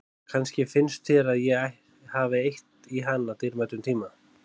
Kannski finnst þér að ég hafi eytt í hana dýrmætum tíma.